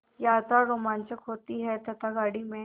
यात्रा रोमांचक होती है तथा गाड़ी में